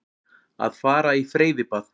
Að fara í freyðibað.